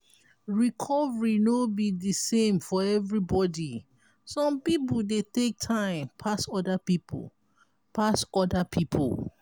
recovery no be di same for everybody some pipo dey take time pas oda pipo pas oda pipo